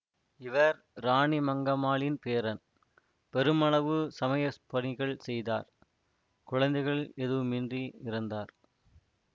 இவர் இராணிமங்கமாளின் பேரன் பெருமளவு சமய பணிகள் செய்தார் குழந்தைகள் எதுவுமின்றி இறந்தார்